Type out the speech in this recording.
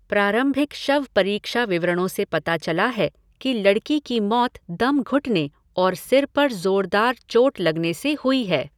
प्रारंभिक शवपरीक्षा विवरणों से पता चला है कि लड़की की मौत दम घुटने और सिर पर ज़ोरदार चोट लगने से हुई है।